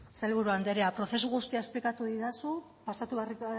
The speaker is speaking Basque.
sailburu andrea prozesu guztia esplikatu didazu pasako